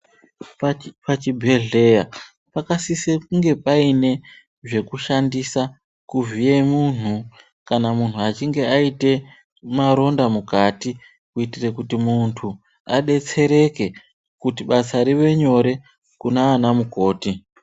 Pachibhedleya pakasise kunge paine zvekushandisa kuvhiye munhu kana munhu achinge aite maronda mukati kuitire kuti muntu adetsereke kuti basa rive nyore kunaana mukoti.